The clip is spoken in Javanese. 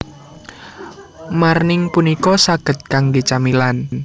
Marning punika saged kangge camilan